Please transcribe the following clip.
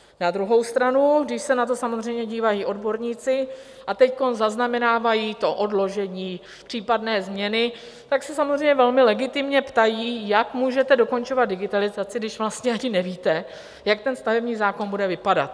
Na druhou stranu, když se na to samozřejmě dívají odborníci a teď zaznamenávají to odložení, případné změny, tak se samozřejmě velmi legitimně ptají, jak můžete dokončovat digitalizaci, když vlastně ani nevíte, jak ten stavební zákon bude vypadat.